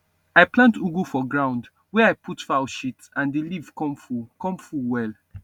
i plant ugu for ground wey i put fowl shit and the leaf come full come full well